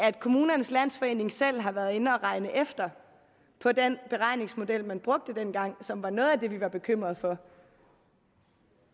at kommunernes landsforening selv har været inde og regne efter på den beregningsmodel man brugte dengang og som var noget af det vi var bekymrede for